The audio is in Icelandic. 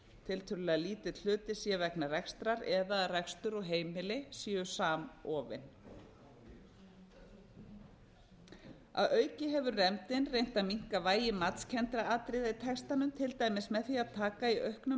tiltölulega lítill hluti sé vegna rekstrar eða að rekstur og heimili séu samofin að auki hefur nefndin reynt að minnka vægi matskenndra atriða í textanum til dæmis með því að taka í auknum